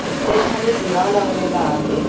प्रत्येक मध्ये दिवा लावलेला आहे.